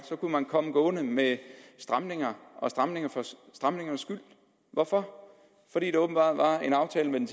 kunne man komme gående med stramninger og stramninger for stramningernes skyld hvorfor fordi der åbenbart var en aftale med den